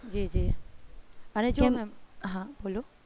જી જી અને જો ma'am હા બોલો